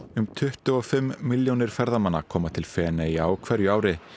um tuttugu og fimm milljónir ferðamanna koma til Feneyja á hverju ári